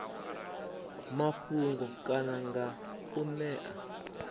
mafhungo kana nga u ṅea